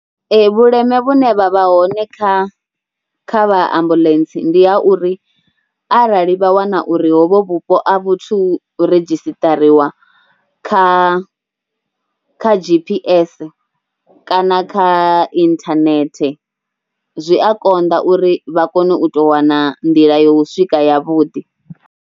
Ee, vhuleme vhune vha vha hone kha kha vha ambuḽentse ndi ha uri arali vha wana uri hovho vhupo a vhu thu redzhistariwa kha kha G_P_S kana kha inthanethe zwi a konḓa uri vha kone u tou wana nḓila yo swika yavhuḓi.